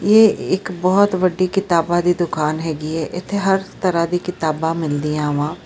ਯੇ ਏਕ ਬਹੁਤ ਵੱਡੀ ਕਿਤਾਬਾਂ ਦੀ ਦੁਕਾਨ ਹੈਗੀ ਹ ਇਥੇ ਹਰ ਤਰ੍ਹਾਂ ਦੀ ਕਿਤਾਬਾਂ ਮਿਲਦੀਆਂ ਵਾਂ।